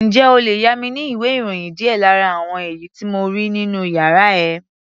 Ǹjẹ́ o lè yá mi ní ìwé-ìròyìn díẹ̀ lára àwọn èyí tí mo rí nínú yàrá ẹ?